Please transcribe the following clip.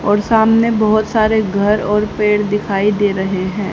और सामने बहोत सारे घर और पेड़ दिखाई दे रहे हैं।